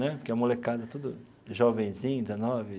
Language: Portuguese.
Né porque a molecada era tudo jovenzinho, dezenove.